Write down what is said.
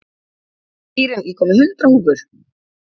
Íren, ég kom með hundrað húfur!